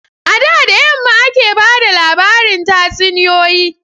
A da da yamma ake ba da labarin tatsuniyoyi.